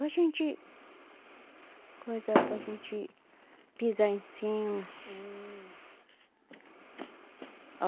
Para gente... Coisa para a gente pisar em cima. Hum.